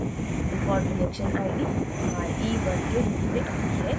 default reaction ID re1 के re1 में the है